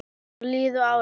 Svo liðu árin.